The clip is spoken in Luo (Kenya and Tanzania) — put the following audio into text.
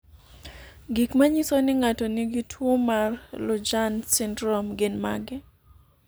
Gik manyiso ni ng'ato nigi tuwo mar Lujan syndrome gin mage?